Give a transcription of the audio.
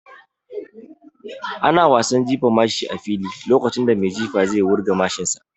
Ana wasan Jifan mashi a fili lokacin da mai jifa zai wurga mashin sa